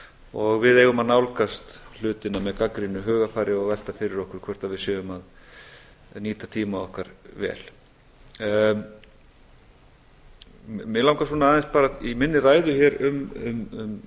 og við eigum að nálgast hlutina með gagnrýnu hugarfari og velta fyrir okkur hvort við séum að nýta tíma okkar vel mig langar aðeins bara í minni ræðu hér um